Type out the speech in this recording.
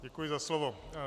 Děkuji za slovo.